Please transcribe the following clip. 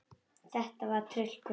Þetta var tryllt kvöld.